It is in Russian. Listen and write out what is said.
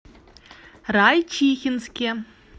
райчихинске